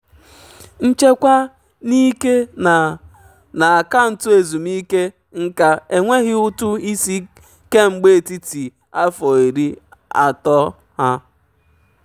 nchekwa n'ike na na akaụntụ ezumike nka enweghị ụtụ isi kemgbe etiti afọ iri atọ ha.